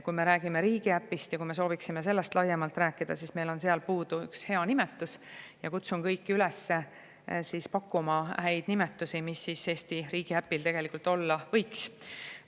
Kui me soovime riigiäpist laiemalt rääkida, siis, et meil on puudu üks hea nimi, ja kutsun kõiki üles pakkuma häid nimesid, mis Eesti riigiäpil olla võiks.